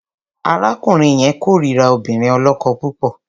Aráùnrin yẹn kórira obìnrin ọlọ́kọ púpọ̀.